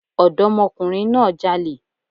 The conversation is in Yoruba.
Ọ̀dọ́mọkùnrin náà jalè